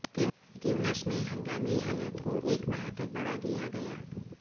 تیونس میں ہنگامی حالات کو ایک ماہ تک بڑھا دیا گیا